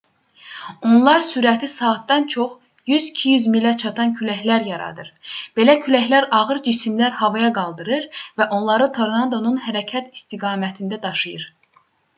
onlar sürəti saatda çox vaxt 100-200 milə çatan küləklər yaradır belə küləklər ağır cisimləri havaya qaldırır və onları tornadonun hərəkət istiqamətində daşıyır